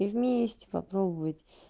и вместе попробовать